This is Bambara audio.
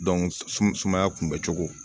sumaya kunbɛ cogo